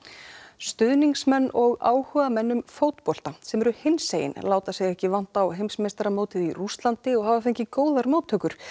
stuðningsmenn og áhugamenn um fótbolta sem eru hinsegin láta sig ekki vanta á heimsmeistaramótið í Rússlandi og hafa fengið góðar móttökur